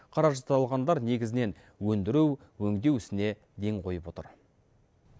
қаражат алғандар негізінен өндіру өңдеу ісіне ден қойып отыр